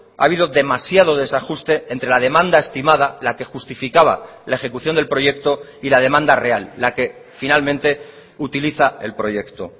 ha habido demasiado desajuste entre la demanda estimada la que justificaba la ejecución del proyecto y la demanda real la que finalmente utiliza el proyecto